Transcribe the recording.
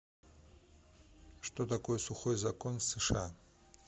что такое сухой закон в сша